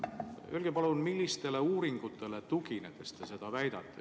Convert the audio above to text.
Öelge palun, millistele uuringutele tuginedes te seda väidate.